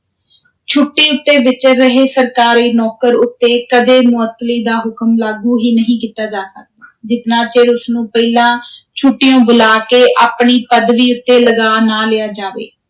ਛੁੱਟੀ ਉੱਤੇ ਵਿਚਰ ਰਹੇ ਸਰਕਾਰੀ ਨੌਕਰ ਉਤੇ ਕਦੇ ਮੁਅੱਤਲੀ ਦਾ ਹੁਕਮ ਲਾਗੂ ਹੀ ਨਹੀਂ ਕੀਤਾ ਜਾ ਸਕਦਾ ਜਿਤਨਾ ਚਿਰ ਉਸ ਨੂੰ ਪਹਿਲਾਂ ਛੁੱਟੀਉਂ ਬੁਲਾ ਕੇ, ਆਪਣੀ ਪਦਵੀ ਉਤੇ ਲਗਾ ਨਾ ਲਿਆ ਜਾਵੇ।